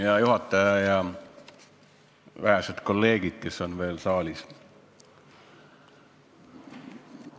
Hea juhataja ja vähesed kolleegid, kes te veel saalis olete!